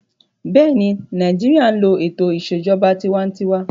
Bẹ́ẹ̀ni, Nàìjíríyà n lo ètò ìṣèjọba tinwatinwa